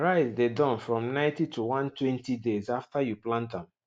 rice dey Accepted from ninety to one twenty days after you plant am